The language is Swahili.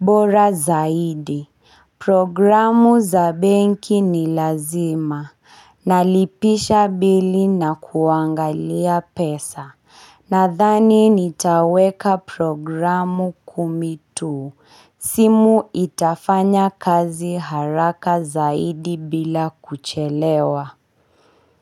bora zaidi Programu za benki ni lazima. Nalipisha bili na kuangalia pesa. Nadhani nitaweka programu kumi tu. Simu itafanya kazi haraka zaidi bila kuchelewa.